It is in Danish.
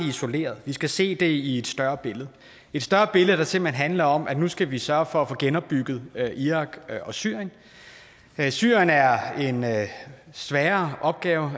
isoleret vi skal se det i et større billede et større billede der simpelt hen handler om at nu skal vi sørge for at få genopbygget irak og syrien syrien er en sværere opgave